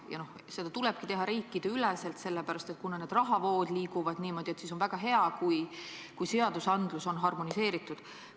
Ja nendega tulebki tegelda riikideüleselt, sest kuna rahavood niimoodi liiguvad, on väga hea, kui seadused on harmoneeritud.